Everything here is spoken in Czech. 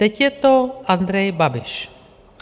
Teď je to Andrej Babiš.